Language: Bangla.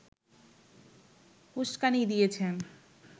উস্কানি দিয়েছেন